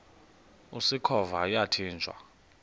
usikhova yathinjw a